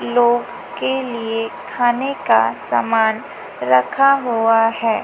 लोग के लिए खाने का सामान रखा हुआ है।